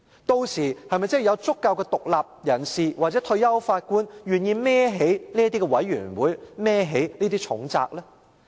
屆時有否足夠的獨立人士或退休法官願意承擔這些獨立調查委員會的重責？